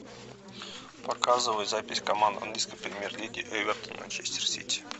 показывай запись команд английской премьер лиги эвертон манчестер сити